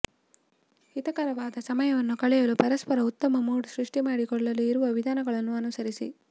ಹಿತಕರವಾದ ಸಮಯವನ್ನು ಕಳೆಯಲು ಪರಸ್ಪರ ಉತ್ತಮ ಮೂಡ್ ಸೃಷ್ಟಿ ಮಾಡಿಕೊಳ್ಳಲು ಇರುವ ವಿಧಾನಗಳನ್ನು ಅನುಸರಿಸಿ